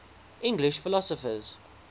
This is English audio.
english philosophers